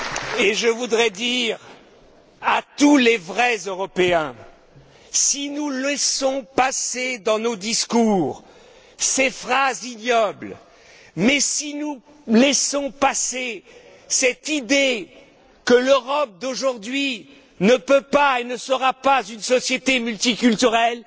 Et je voudrais dire à tous les vrais Européens si nous laissons passer dans nos discours ces phrases ignobles, si nous laissons passer cette idée que l'Europe d'aujourd'hui ne peut pas être et ne sera pas une société multiculturelle,